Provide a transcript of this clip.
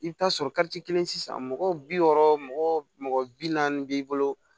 I bɛ taa sɔrɔ kelen sisan mɔgɔ bi wɔɔrɔ mɔgɔ bi naani b'i bolo